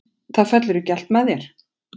Það fellur ekki allt með þér.